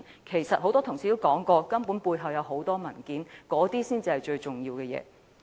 事實上，很多同事說過，背後牽涉許多文件，那些文件才是最重要的。